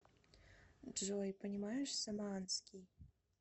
джой понимаешь самоанский